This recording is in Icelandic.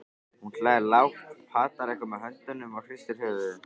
Hún hlær lágt, patar eitthvað með höndunum og hristir höfuðið.